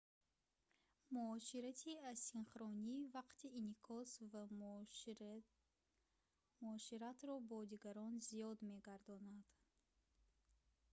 муоширати асинхронӣ вақти инъикос ва муоширатро бо дигарон зиёд мегардонад